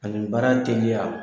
Ani baara teliya